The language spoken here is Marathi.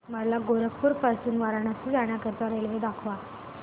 मला गोरखपुर पासून वाराणसी जाण्या करीता रेल्वे दाखवा